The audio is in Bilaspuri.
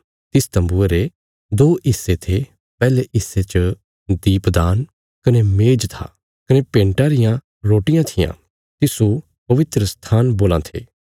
तिस तम्बुये रे दो हिस्से थे पैहले हिस्से च दीपदान कने मेज था कने भेंटा रियां रोटियां थिआं तिस्सो पवित्रस्थान बोलां थे